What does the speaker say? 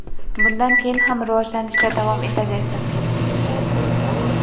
bundan keyin ham rivojlanishda davom etaversin.